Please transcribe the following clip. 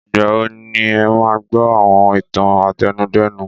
Ìgbà wo ni ẹ máa gbọ́ àwọn ìtàn àtẹnudẹ́nu?